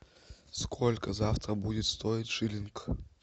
сколько завтра будет стоить шиллинг